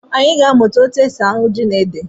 Anyị ga-amụta etu e si ahụ ji na ede